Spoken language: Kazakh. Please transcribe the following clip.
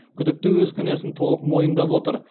күдікті өз кінәсін толық мойындап отыр